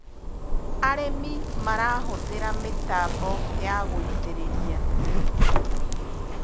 arĩmi marahuthira mitambo ya gũitĩrĩria